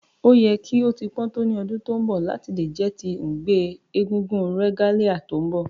O yẹ ki o ti pọn to ni ọdun to nbọ lati jẹ ti ngbe egúngún regalia ti nbọ